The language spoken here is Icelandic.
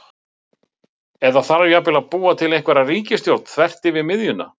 Eða þarf jafnvel að búa til einhverja ríkisstjórn þvert yfir miðjuna?